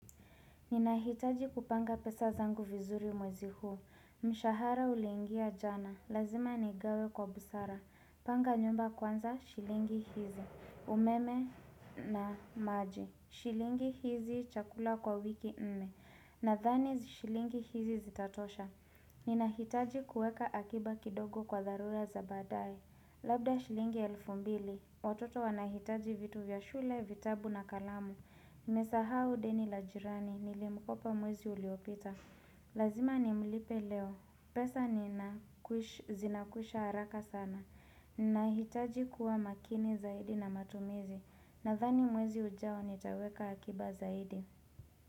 Ninahitaji kupanga pesa zangu vizuri mwezi huu, mshahara uliingia jana, lazima nigawe kwa busara, panga nyumba kwanza shilingi hizi, umeme na maji, shilingi hizi chakula kwa wiki nne, nadhani shilingi hizi zitatosha. Ninahitaji kueka akiba kidogo kwa dharura za baadaye Labda shilingi elfu mbili, watoto wanahitaji vitu vya shule, vitabu na kalamu Nimesahau deni la jirani, nilimkopa mwezi uliopita Lazima nimlipe leo, pesa zinakwisha haraka sana Ninahitaji kuwa makini zaidi na matumizi Nadhani mwezi ujao nitaweka akiba zaidi.